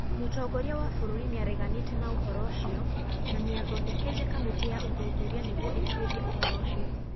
Mũtongoria wa bũrũri nĩ areganĩte na ũhoro ũcio na nĩ athondekeire kamĩtĩ ya ũthuthuria nĩguo ĩtuĩrie ũhoro ũcio.